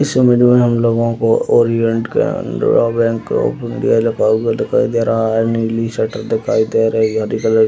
इस इमेज में हम लोगो को Orient Canara bank of India लिखा हुआ दिखाई दे रहा है नीली शटर दिखाई दे रही है हरी कलर --